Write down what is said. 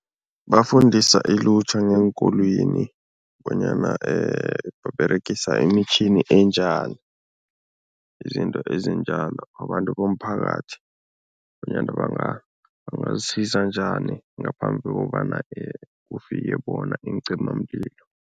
Bafundisa ilutjha ngeenkolweni bonyana baberegisa imitjhini enjani, izinto ezinjalo, abantu bomphakathi bonyana bangazisiza njani ngaphambi kokobana kufike bona iincimamlilo.